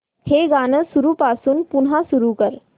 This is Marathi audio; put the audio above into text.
हे गाणं सुरूपासून पुन्हा सुरू कर